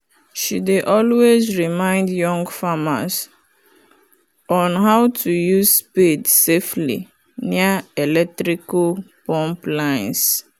she dey always remind young farmers on how to use spade safely near electrical pump lines